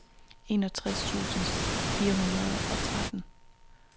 enogtres tusind fire hundrede og tretten